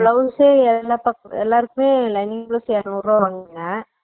blouse ஏ எல்லா பக்கம் எல்லாருக்குமே lining blouse ஏறனூரு ரூபா வாங்குங்க